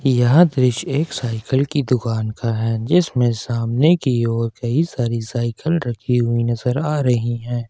यह दृश्य एक साइकिल की दुकान का है जिसमें सामने की ओर कई सारी साइकिल रखी हुई नजर आ रही है।